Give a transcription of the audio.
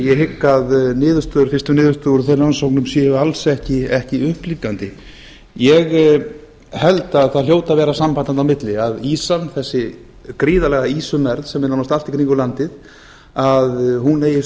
ég hygg að fyrstu niðurstöður úr þeim rannsóknum séu alls ekki upplífgandi ég held að það hljóti að vera samband þarna á milli að ýsan þessi gríðarlega ýsumergð sem er nánast allt í kringum landið að hún eigi